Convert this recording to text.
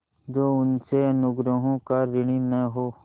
जो उसके अनुग्रहों का ऋणी न हो